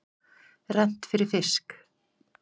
Rennt fyrir fisk.